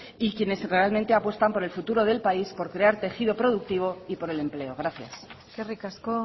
y quienes realmente apuestan por el futuro del país por crear tejido productivo y por el empleo gracias eskerrik asko